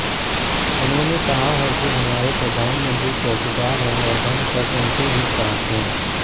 उन्होंने कहा कि हमारे प्रधानमंत्री चौकीदार हैं और हम सब उनके ही साथ हैं